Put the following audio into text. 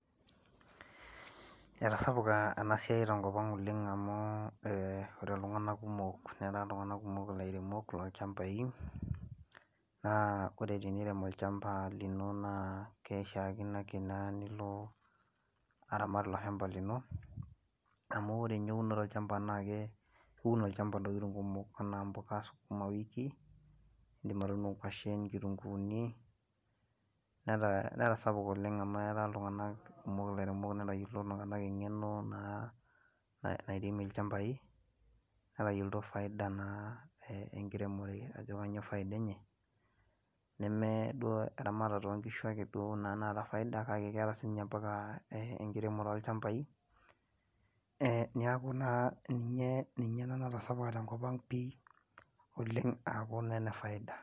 etasapuka ena siai oleng tenkop ang' amu ore iltunganak kumok, netaa iltunganak kumok ilairemok, lolchampai, naa ore tenirem olchampa, naa keishaakino naa ake nilo, aramat ilo shampa lino. amu ore. ninye, eunoto olchampa naa iun olchampa, loo ntokitin kumok, anaa mpuka skuma wiki idim atuuno nkwashen nkitunkuuni, netasapuka oleng amu etaa iltunganak kumok ilairemok netayioloito iltunganak eng'eno naa, nairemie ilchampai, netayioloto faida naa enkiremore ajo kainyioo faida enye, neme duo eramatarta oo nkishu ake naata faida, kake keeta sii ninye ampaka enkiremore olchampai, niaku taa ninye ele lotasapuka, te nkop ang pii, oleng aaku, naa ene faida.